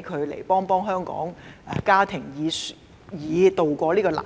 傭來港幫助香港的家庭，以渡過難關。